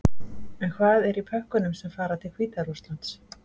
En hvað er í pökkunum sem fara til Hvíta-Rússlands?